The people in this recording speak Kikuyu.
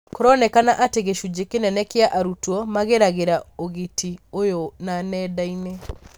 Kũronekana atĩ gĩcunjĩ kĩnene kia arutwo mageragĩra ũgiti ũyũ wa nendainĩ.